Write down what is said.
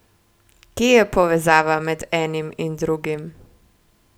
Kje je povezava med enim in drugim?